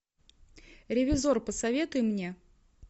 ревизор посоветуй мне